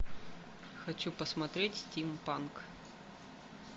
хочу посмотреть стимпанк